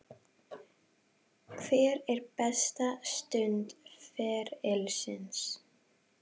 Hver er besta stund ferilsins?